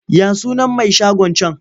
Ya sunan mai shagon can?